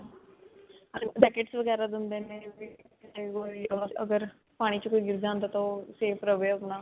jackets ਵਗੈਰਾ ਦਿੰਦੇ ਨੇ ਅਗਰ ਪਾਣੀ 'ਚ ਕੋਈ ਗਿਰ ਜਾਂਦਾ ਹੈ ਤਾਂ ਓਹ safe ਰਵੇ ਅਪਣਾ.